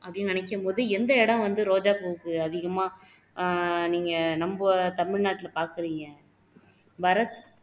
அப்படின்னு நினைக்கும் போது எந்த இடம் வந்து ரோஜாப்பூவுக்கு அதிகமா ஆஹ் நீங்க நம தமிழ்நாட்டுல பாக்குறீங்க பரத்